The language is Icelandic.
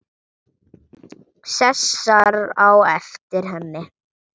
Sesar á eftir henni.